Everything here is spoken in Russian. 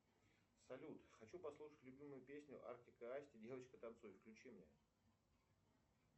салют хочу послушать любимую песню артик и асти девочка танцуй включи мне